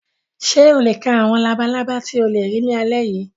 Ṣé o lè ka àwọn labalábá tí ó lè rí lálẹ́ yìí?